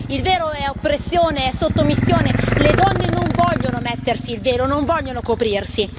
Il velo è oppressione, è sottomissione, le donne non vogliono mettersi il velo, non vogliono coprirsi.